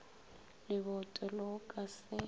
leboto le go ka se